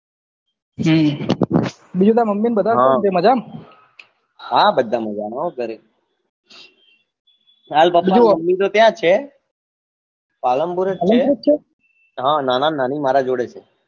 હમ બીજું તાર mummy ને બધા કેમ છે મજા માં હા બધા મજા માં હો ઘરે હાલ papa mummy તો ત્યાં જ છે Palanpur જ છે Palanpur જ છે હા નાના ને નાની મારા જોડે જ છે